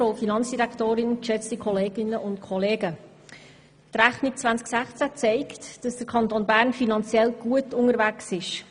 Die Rechnung 2016 zeigt, dass der Kanton Bern finanziell gut unterwegs ist.